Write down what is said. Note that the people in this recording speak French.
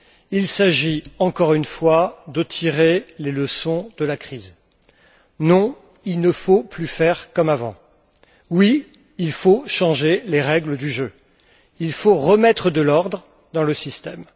Il s'agit encore une fois de tirer les leçons de la crise non, il ne faut plus faire comme avant, oui, il faut changer les règles du jeu, il faut remettre de l'ordre dans le système.